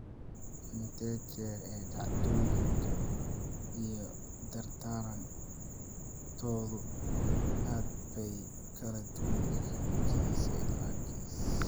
Inta jeer ee dhacdooyinka iyo darnaantoodu aad bay u kala duwan yihiin kiis ilaa kiis.